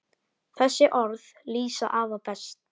Þessi orð lýsa afa best.